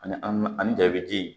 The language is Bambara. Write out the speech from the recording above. Ani anvki ji